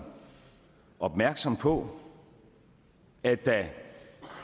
opmærksom på at der